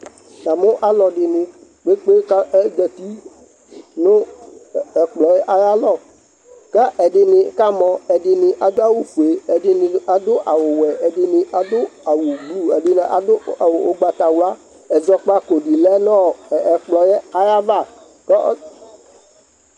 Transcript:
yamou àlòdini kpékpé kazèti nù ekploè ayalõ kè èdini kamõ ,èdini adoawu foè, èdini adoawu woè, èdini adoawu ògbatawlàèzõkpaku dini lènõ èkplõ ayava